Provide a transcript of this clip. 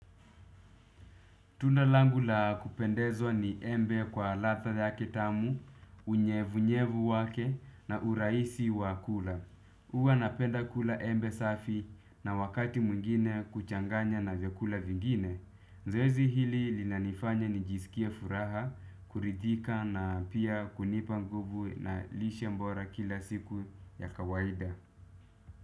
Tunda langu la kupendezwa ni embe kwa ladha yake tamu, unyevu-nyevu wake na urahisi wa kula. Huwa napenda kula embe safi na wakati mwingine kuchanganya na vyakula vingine. Zoezi hili linanifanya nijisikie furaha, kuridhika na pia kunipa nguvu na lishe bora kila siku ya kawaida.